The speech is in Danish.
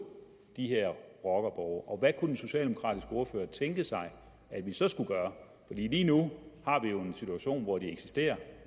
de her rockerborge hvad kunne den socialdemokratiske ordfører tænke sig at vi så skulle gøre fordi lige nu har vi jo en situation hvor de eksisterer